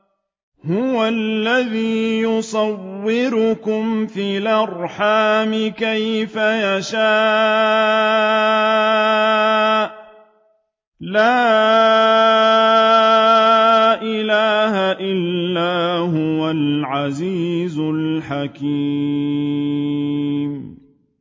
هُوَ الَّذِي يُصَوِّرُكُمْ فِي الْأَرْحَامِ كَيْفَ يَشَاءُ ۚ لَا إِلَٰهَ إِلَّا هُوَ الْعَزِيزُ الْحَكِيمُ